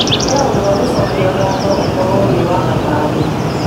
ĩkĩra ũndũ wa gũcokia ngatho ũkorwo wĩ wa gatano